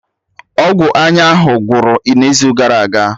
Ọgwụ anya ahụ gwụrụ n'izu gara aga